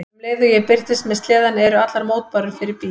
Um leið og ég birtist með sleðann eru allar mótbárur fyrir bí.